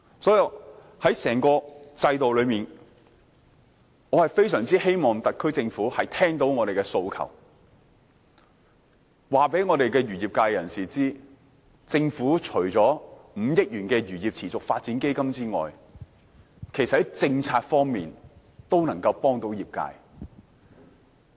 所以，在整個制度中，我非常希望特區政府聆聽我們的訴求，告訴漁業界人士，政府除了5億元的漁業持續發展基金外，其實在政策方面都能夠幫助業界。